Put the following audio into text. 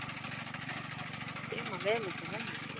Ég man vel eftir henni.